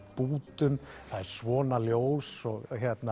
bútum það er svona ljós og